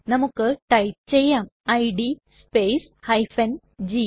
നമുക്ക് ടൈപ്പ് ചെയ്യാം id space g